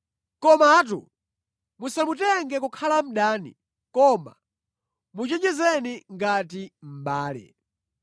Komatu musamutenge kukhala mdani, koma muchenjezeni ngati mʼbale.